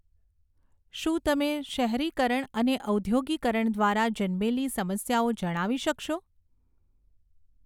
શું તમે શહેરીકરણ અને ઔધોગિકરણ દ્વારા જન્મેલી સમસ્યાઓ જણાવી શકશો?